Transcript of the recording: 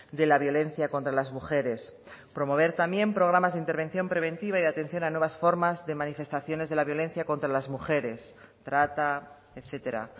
de la violencia contra las mujeres promover también programas de intervención preventiva y atención a nuevas formas de manifestaciones de la violencia contra las mujeres trata etcétera